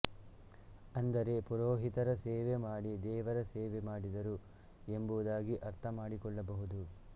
ಅಂದರೆ ಪುರೋಹಿತರ ಸೇವೆ ಮಾಡಿ ದೇವರ ಸೇವೆ ಮಾಡಿದರು ಎಂಬುದಾಗಿ ಅರ್ಥಮಾಡಿಕೊಳ್ಳ ಬಹುದು